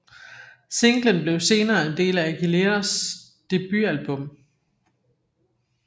Singlen blev senere en del af Aguileras debutalbum